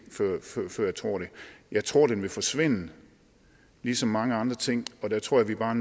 før jeg tror det jeg tror den vil forsvinde ligesom mange andre ting og der tror jeg bare